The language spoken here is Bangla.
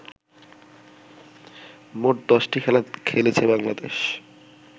মোট দশটি খেলা খেলেছে বাংলাদেশ